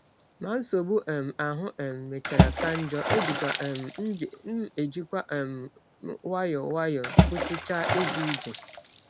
Ma nsọgbụ um ahụ um mechara ka njọ, ejikwa um m ejikwa um m nwayọọ nwayọọ kwụsịchaa ịga ije.